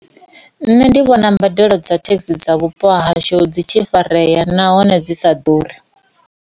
Nṋe ndi vhona mbadelo dza thekhisi dza vhupo hashu dzi tshi farea nahone dzi sa ḓuri.